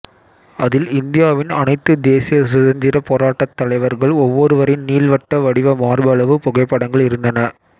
அதில் இந்தியாவின் அனைத்து தேசிய சுதந்திரப் போராட்டத் தலைவர்கள் ஒவ்வொருவரின் நீள்வட்ட வடிவ மார்பளவு புகைப்படங்கள் இருந்தன